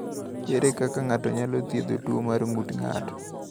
Ere kaka ng’ato nyalo thiedho tuwo mar ng’ut ng’ato?